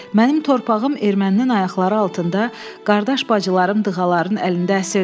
Mənim torpağım ermənin ayaqları altında, qardaş-bacılarım dığaların əlində əsirdir.